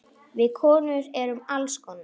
Við konur erum alls konar.